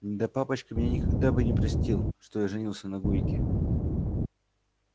да папочка мне никогда бы не простил что я женился на гойке